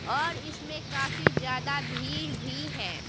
और इसमें काफी ज्यादा भीड़ भी है।